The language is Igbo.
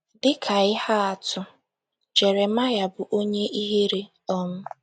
Dị ka ihe atụ, Jeremaya bụ onye ihere um.